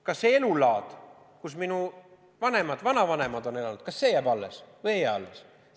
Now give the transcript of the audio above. Kas see elulaad, mida minu vanemad ja vanavanemad on õigeks pidanud, jääb alles või ei jää alles?